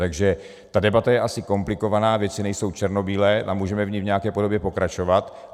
Takže ta debata je asi komplikovaná, věci nejsou černobílé a můžeme v ní v nějaké podobě pokračovat.